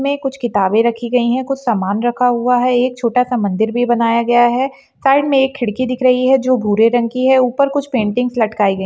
में कुछ किताबे रखी गई हैं कुछ सामान रखा हुआ है एक छोटा सा मंदिर भी बनाया गया है साइड में एक खिड़की दिख रही है जो भूरे रंग कि है ऊपर कुछ पैन्टीनगस लटकाई गई --